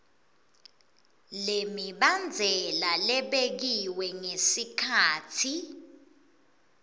lemibandzela lebekiwe ngesikhatsi